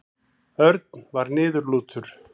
Örn var niðurlútur.